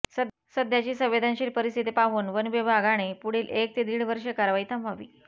सध्याची संवेदनशील परिस्थिती पाहून वन विभागाने पुढील एक ते दीड वर्षे कारवाई थांबवावी